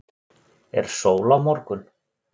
er sól á morgun